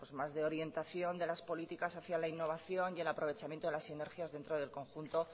más de orientación de las políticas hacia la innovación y al aprovechamiento a las sinergias dentro del conjunto